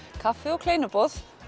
kaffi og kleinuboð